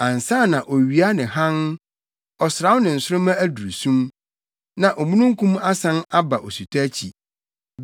ansa na owia ne hann, ɔsram ne nsoromma aduru sum, na omununkum asan aba osutɔ akyi.